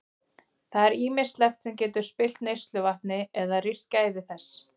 Það er ýmislegt sem getur spillt neysluvatni eða rýrt gæði þess.